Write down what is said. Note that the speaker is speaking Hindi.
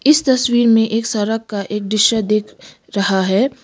इस तस्वीर में एक सरक का एक दिशा दिख रहा है।